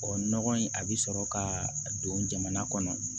Ɔ nɔgɔ in a bɛ sɔrɔ ka don jamana kɔnɔ